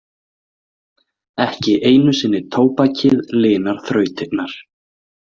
Ekki einu sinni tóbakið linar þrautirnar.